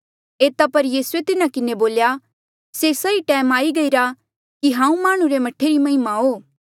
एता पर यीसूए तिन्हा किन्हें बोल्या से सही टैम आई गईरा कि हांऊँ माह्णुं रे मह्ठे री महिमा हो